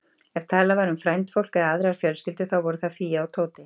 Ef talað var um frændfólk eða aðrar fjölskyldur, þá voru það Fía og Tóti.